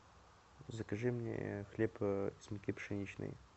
закажи мне хлеб с муки пшеничной